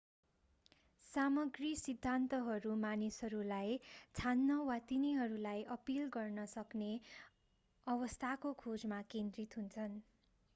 सामग्री सिद्धान्तहरू मानिसहरूलाई छान्न वा तिनीहरूलाई अपील गर्ने सक्ने अवस्थाको खोजमा केन्द्रित हुन्छन्